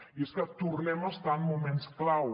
i és que tornem a estar en moments clau